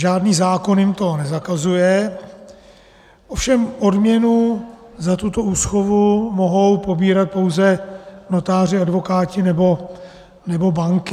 Žádný zákon jim to nezakazuje, ovšem odměnu za tuto úschovu mohou pobírat pouze notáři, advokáti nebo banky.